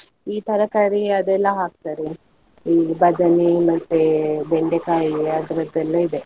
ಈ ತರಕಾರಿ ಅದೆಲ್ಲ ಹಾಕ್ತಾರೆ, ಈ ಬದನೆ ಮತ್ತೆ ಬೆಂಡೆಕಾಯಿ ಆ ತರದೆಲ್ಲ ಇದೆ.